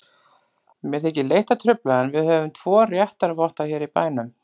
Mér þykir leitt að trufla, en við höfum tvo réttarvotta hér í bænum.